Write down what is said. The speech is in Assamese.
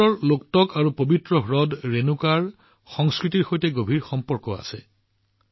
মণিপুৰৰ সংস্কৃতিৰ লোগটক আৰু পৱিত্ৰ হ্ৰদ ৰেণুকাৰ সৈতে গভীৰ সম্পৰ্ক আছে